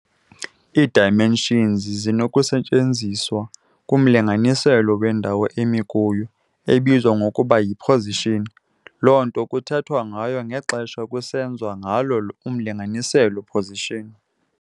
Ii-dimensions zisenokusetyenziswa kumlinganiselo wendawo emi kuyo, ebizwa ngokuba yi-position, loo nto kuthethwa ngayo ngexesha kusenziwa ngalo umlinganiselo-position.